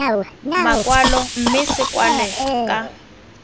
makwalo mme se kwalwe ka